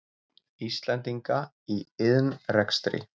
Íslendinga í iðnrekstri.